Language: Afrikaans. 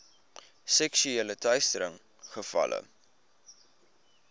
seksuele teistering gevalle